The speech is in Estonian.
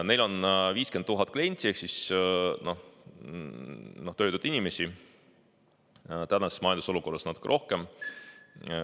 Neil on 50 000 klienti ehk töötut inimest, tänases majandusolukorras natuke rohkem.